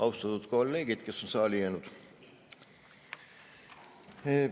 Austatud kolleegid, kes on saali jäänud!